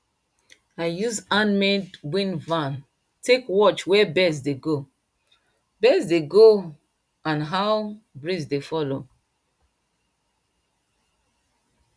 i use handmade wind van take watch where birds dey go birds dey go a d how breeze dey follow